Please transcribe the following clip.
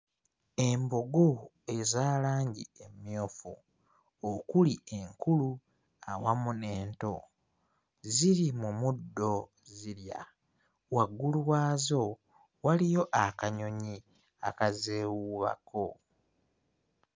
Embogo eza langi emmyufu okuli enkulu awamu n'ento, ziri mu muddo zirya, waggulu waazo waliyo akanyonyi akazeewuubako.